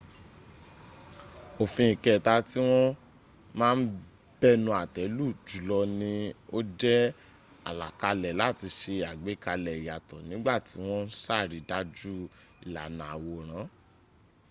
òfin ìkẹta tí wọ́n ma ń bẹnu àtẹ́ lù jùlọ ní ó jẹ́ àlàkalẹ̀ láti se àgbékalẹ̀ ìyàtọ̀ nígbà tí wọ́n ń sàrídájú ìlànà àwòrán